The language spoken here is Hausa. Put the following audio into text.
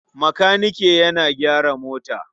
Makanike yana gyara mota.